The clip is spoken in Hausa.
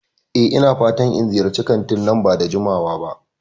E, ina fatan in ziyarci kantin nan ba da jimawa ba.